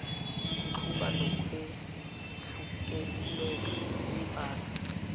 kuxuba nokwehluleka imbala